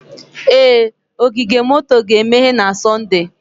Ee, ogige moto ga-emeghe na Sọnde